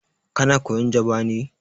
Kana koyan Jaba ne?